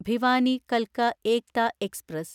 ഭിവാനി കൽക്ക ഏക്ത എക്സ്പ്രസ്